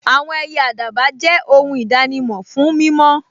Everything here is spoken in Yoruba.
Àwọn ẹyẹ àdàbà jẹ́ ohun ìdánimọ̀ fún mímọ́